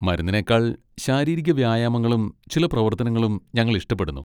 മരുന്നിനേക്കാൾ ശാരീരിക വ്യായാമങ്ങളും ചില പ്രവർത്തനങ്ങളും ഞങ്ങൾ ഇഷ്ടപ്പെടുന്നു.